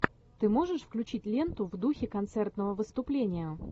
ты можешь включить ленту в духе концертного выступления